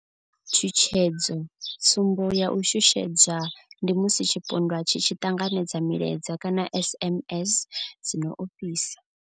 Tshutshedzo, tsumbo ya u shushedzwa ndi musi tshipondwa tshi tshi ṱanganedza milaedza kana SMS dzi no ofhisa.